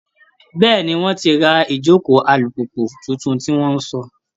Bẹ́ẹ́ni, wọ́n ti ra ìjókòó alùpùpù tuntun tí wọ́n sọ